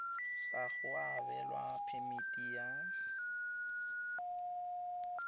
ga go abelwa phemiti ya